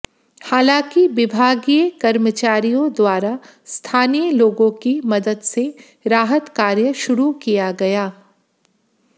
हालांकि विभागीय कर्मचारियों द्वारा स्थानीय लोगों की मदद से राहत कार्य शुरू किया गया